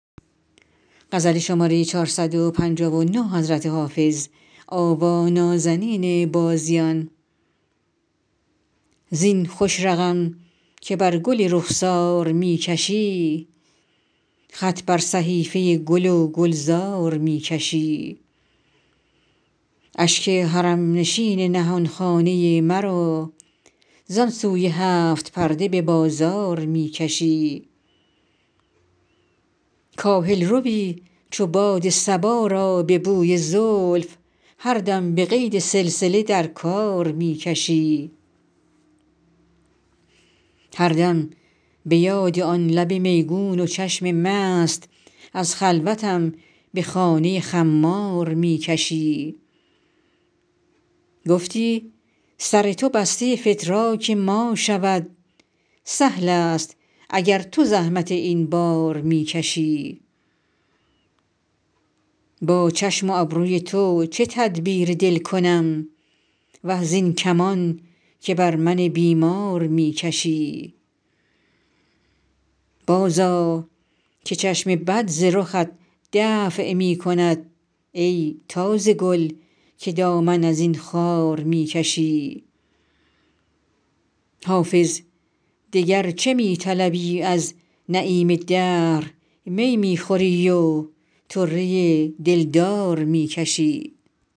زین خوش رقم که بر گل رخسار می کشی خط بر صحیفه گل و گلزار می کشی اشک حرم نشین نهان خانه مرا زان سوی هفت پرده به بازار می کشی کاهل روی چو باد صبا را به بوی زلف هر دم به قید سلسله در کار می کشی هر دم به یاد آن لب میگون و چشم مست از خلوتم به خانه خمار می کشی گفتی سر تو بسته فتراک ما شود سهل است اگر تو زحمت این بار می کشی با چشم و ابروی تو چه تدبیر دل کنم وه زین کمان که بر من بیمار می کشی بازآ که چشم بد ز رخت دفع می کند ای تازه گل که دامن از این خار می کشی حافظ دگر چه می طلبی از نعیم دهر می می خوری و طره دلدار می کشی